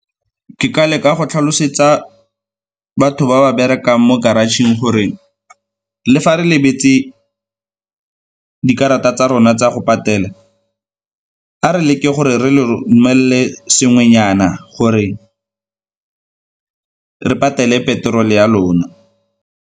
Ke ka leka go tlhalosetsa batho ba ba berekang mo garage-tšheng gore le fa re lebetse dikarata tsa rona tsa go patela a re leke gore re le romelele sengwenyana gore re patele petrol-e ya lona.